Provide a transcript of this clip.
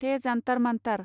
थे जान्थार मान्थार